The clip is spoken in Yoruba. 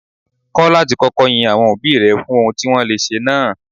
Kọ́ láti kọ́kọ́ yin àwọn òbí rẹ fún ohun tí wọ́n le ṣe náà.